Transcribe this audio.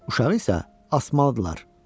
Uşağı isə asmalıdırlar.